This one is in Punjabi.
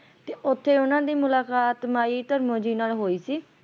ਤੇ ਉੱਥੇ ਓਹਨਾ ਦੀ ਮੁਲਾਕਾਤ ਮਾਈ ਧਰਮੋਂ ਜੀ ਨਾਲ ਹੋਈ ਸੀ